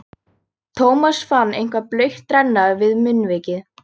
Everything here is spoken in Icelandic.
Thomas fann eitthvað blautt renna við munnvikið.